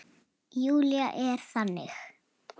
Júlía er þannig.